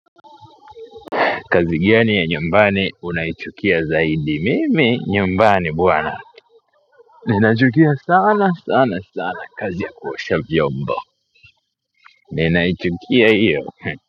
Kazi gani ya nyumbani unaichukia zaidi, mimi nyumbani bwana, ninachukia sana sana sana kazi ya kuosha vyombo, ninaichukia iyo.